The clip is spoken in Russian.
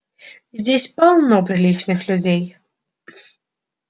здесь полно приличных людей